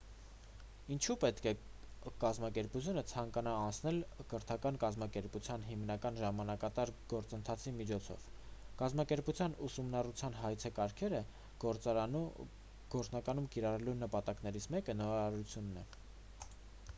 ինչու պետք է կազմակերպությունը ցանկանա անցնել կրթական կազմակերպության հիմնման ժամանակատար գործընթացի միջով կազմակերպության ուսումնառության հայեցակարգերը գործնականում կիրառելու նպատակներից մեկը նորարարությունն է